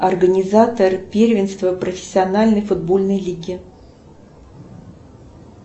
организатор первенства профессиональной футбольной лиги